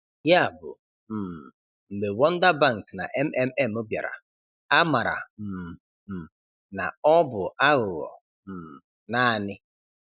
Ya bụ, um mgbe Wonder Bank na MMM bịara, amara um m na ọ bụ aghụghọ um naanị.